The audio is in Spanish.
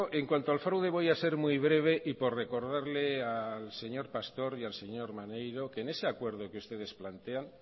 en cuanto al fraude voy a ser muy breve y por recordarle al señor pastor y al señor maneiro que en ese acuerdo que ustedes plantean